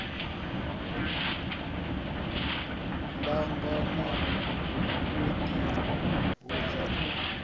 ḽanga na u ḓihudza u